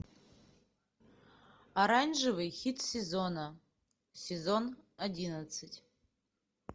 оранжевый хит сезона сезон одиннадцать